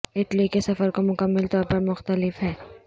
Italy کے سفر کو مکمل طور پر مختلف ہیں